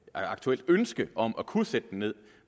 aktuelt ønske om at kunne sætte den ned